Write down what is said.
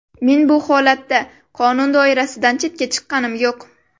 Men bu holatda qonun doirasidan chetga chiqqanim yo‘q.